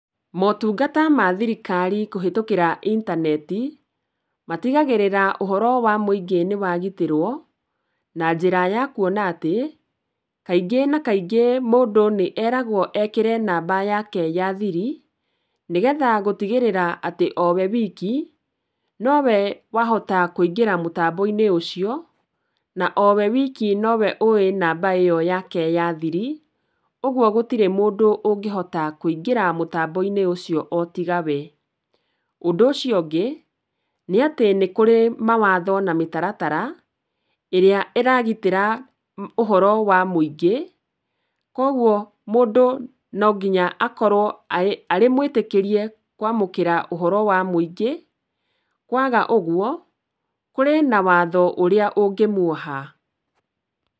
Motungata ma thirikari kũhetũkĩra itaneti matigagĩrĩra ũhoro wa mũingĩ nĩ wagitĩrwo na njĩra ya kuona atĩ, kaingĩ na kaingĩ mũndũ nĩ eragwo ekĩre namba yake ya nĩ getha gũtigĩrĩra atĩ o we wiki nowe wahota kũingĩra mũtambo-inĩ ũcio na owe wiki nowe ũĩ namba ĩo yake ya thiri, ũguo gũtirĩ mũndũ ũngĩhota kũingĩra mũtambo-inĩ ũcio o tiga we. Ũndũ ũcio ũngĩ nĩ atĩ nĩ kũrĩ mawatho na mĩtaratara ĩrĩa ĩragitĩra ũhoro wa mũingĩ kũoguo mũndũ no nginya akorwo arĩ mwĩtĩkĩrie kwamũkĩra ũhoro wa mũingĩ, kwaga ũguo kũrĩ na watho ũrĩa ũngĩmuoha.